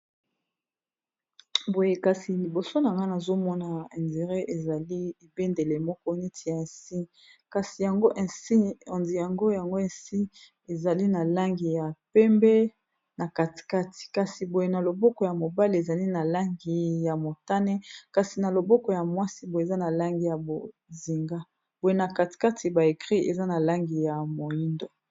boye kasi liboso na nga na azomona indire ezali ebendele moko neti ya insi kasi yangodi yango yango insi ezali na langi ya pembe na katikati kasi boye na loboko ya mobale ezali na langi ya motane kasi na loboko ya mwasi oyeza na langi ya bozinga boye na katikati ba ekri eza na langi ya moindo